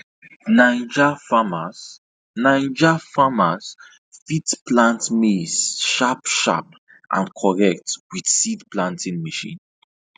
9ja farmers 9ja farmers fit plant maize sharp sharp and correct with seed planting machine